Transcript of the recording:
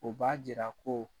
O b'a jira ko